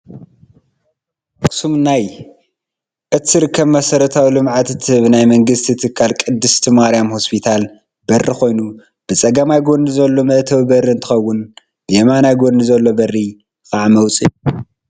ካብቶም ኣብ ኣክሱም ናይ እትርከብ መሰረታዊ ልምዓት እትህብ ናይ መንግስቲ ትካል ቅድስቲ ማርያም ሆስፒታል በሪ ኮይኑ ብፀገማይ ጎኒ ዘሎ መእተዊ በሪ እንትከውን ብየማናይ ጎኒ ዘሎ በሪ ከዓ መውፂኢ እዩ።